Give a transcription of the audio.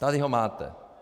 Tady ho máte.